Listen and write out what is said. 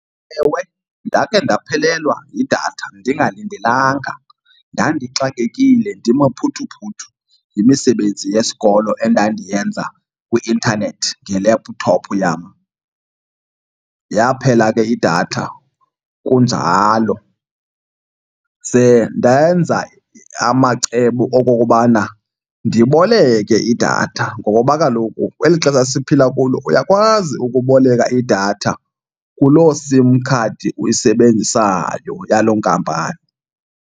Ewe, ndakhe ndaphelelwa yidatha ndingalindelanga. Ndandixakekile ndimaphuthuphuthu yimisebenzi yesikolo endandiyenza kwi-intanethi ngelephuthophu yam. Yaphela ke idatha kunjalo, ze ndenza amacebo okokubana ndiboleke idatha ngoba kaloku kweli xesha siphila kulo uyakwazi ukuboleka idatha kuloo SIM khadi uyisebenzisayo yaloo nkampani.